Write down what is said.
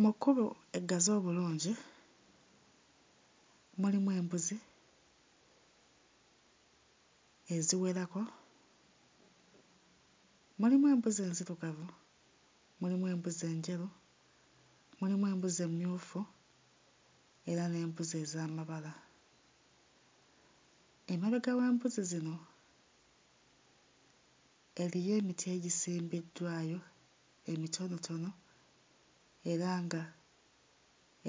Mu kkubo eggazi obulungi mulimu embuzi eziwerako. Mulimu embuzi enzirugavu, mulimu embuzi enjeru, mulimu embuzi emmyufu era n'embuzi ez'amabala. Emabega w'embuzi zino eriyo emiti egisimbiddwayo emitonotono era nga